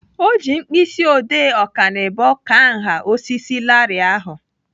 Ọ ji mkpịsị odee ọkanibo kaa nha osisi larịị ahụ.